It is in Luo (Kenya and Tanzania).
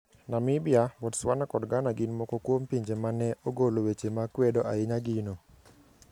Namibia, Botswana, kod Ghana gin moko kuom pinje ma ne ogolo weche ma kwedo ahinya gino.